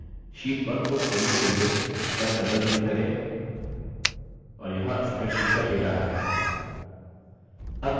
sheet1 को खोलने के लिए इस पर double click करें और यहाँ spreadsheet का data है